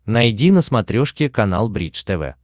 найди на смотрешке канал бридж тв